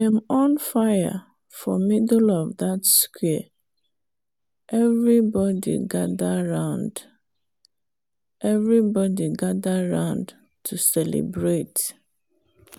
dem on fire for middle of dat square everybody gather round everybody gather round to celebrate.